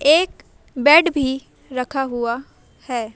एक बेड भी रखा हुआ है।